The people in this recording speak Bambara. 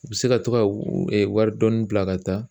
U bɛ se ka to ka wari dɔɔni bila ka taa